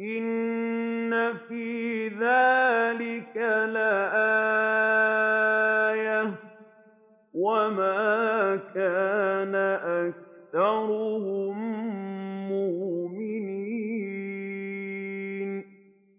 إِنَّ فِي ذَٰلِكَ لَآيَةً ۖ وَمَا كَانَ أَكْثَرُهُم مُّؤْمِنِينَ